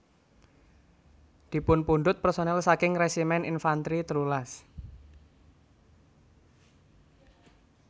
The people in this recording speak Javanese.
dipunpundhut personel saking Resimen Infantri telulas